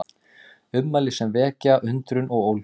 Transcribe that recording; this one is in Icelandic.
Ummæli sem vekja undrun og ólgu